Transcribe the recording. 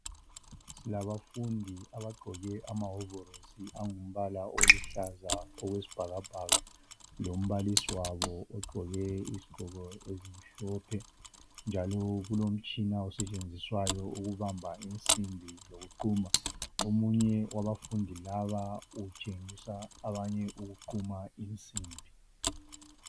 Silabafundi abagqoke amawovolosi angumbala oluhlaza okwesibhakabhaka, lombalisi wabo ogqoke izigqoko ezimhlophe. Njalo kulomtshina osetshenziswa ukubamba insimbi lokuquma. Omunye wabafundi laba utshengisa abanye ukuquma insimbi.